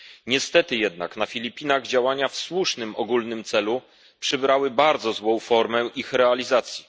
Niestety jednak na Filipinach działania w słusznym ogólnym celu przybrały bardzo złą formę ich realizacji.